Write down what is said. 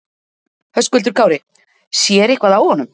Höskuldur Kári: Sér eitthvað á honum?